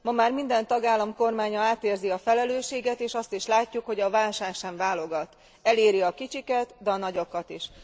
Ma már minden tagállam kormánya átérzi a felelősséget, és azt is látjuk, hogy a válság sem válogat, eléri a kicsiket, de a nagyokat is.